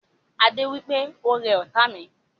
Adé wípé "Ó rẹ ọ́ta mi"